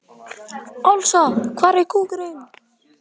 Ásla, hvað er opið lengi á þriðjudaginn?